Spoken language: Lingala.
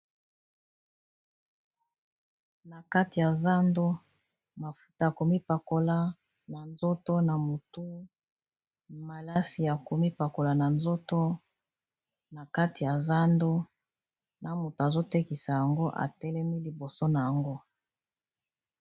na kati ya zando mafuta a komipakola na nzoto na motu malasi ya komipakola na zoona kati ya zando na moto azotekisa yango atelemi liboso na yango